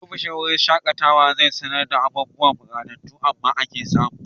Ofishin wurin shaƙatawa zai sanar da abubuwan 'ɓatattu amma aka samu'.